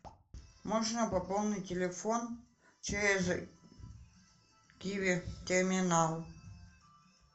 можно пополнить телефон через киви терминал